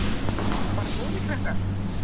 Bara góðir krakkar.